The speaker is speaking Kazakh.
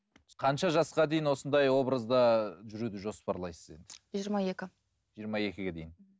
қанша жасқа дейін осындай образда жүруді жоспарлайсыз енді жиырма екі жиырма екіге дейін